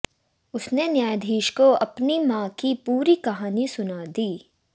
उसने न्यायाधीश को अपनी मां की पूरी कहानी सुना दी